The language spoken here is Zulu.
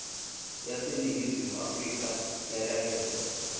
yaseningizimu afrika yalahleka